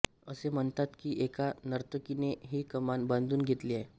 असे म्हणतात कि एका नर्तकीने हि कमान बांधून घेतली